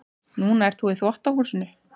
Núna ert þú í þvottahúsinu.